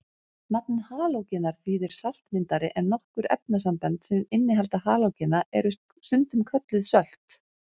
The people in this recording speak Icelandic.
Nafnið halógenar þýðir saltmyndari en nokkur efnasambönd sem innihalda halógena eru stundum kölluð sölt.